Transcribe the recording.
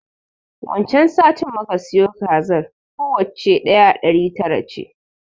Wan can satin muka siyo kazar, kowacce ɗaya ɗari tara ce.